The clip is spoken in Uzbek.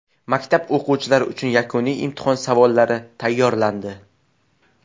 Maktab o‘quvchilari uchun yakuniy imtihon savollari tayyorlandi.